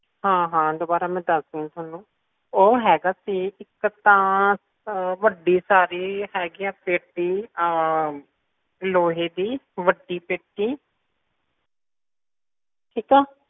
ਹਾਂ ਹਾਂ ਦੁਬਾਰਾ ਮੈਂ ਦੱਸਦੀ ਆ ਤੁਹਾਨੂੰ ਉਹ ਹੈਗਾ ਸੀ ਇੱਕ ਤਾਂ ਵੱਡੀ ਸਾਰੀ ਹੈਗੀ ਆ ਪੇਟੀ ਲੋਹੇ ਦੀ ਵੱਡੀ ਪੇਟੀ ਠੀਕ ਆ